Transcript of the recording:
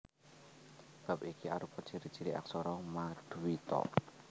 Bab iki arupa ciri ciri aksara maduita